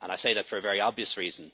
I say that for a very obvious reason